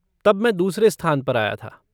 तब मैं दूसरे स्थान पर आया था।